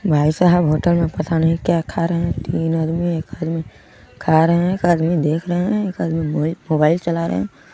भाईसाहब होटल मे पता नहीं क्या खा रहे है तीन आदमी एक आदमी खा रहे है एक आदमी देख रहे है एक आदमी मोबाइल चला रहे हैं ।